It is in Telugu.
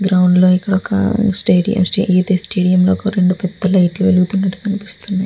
గ్రౌండ్ లో ఇది ఒక్క స్టేడియం . ఇది ఈ స్టేడియం లాగా రెండు పెద్ద లైట్ లు వెలుగుతున్నట్లు కనిపిస్తుంది.